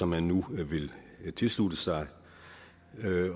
man nu vil tilslutte sig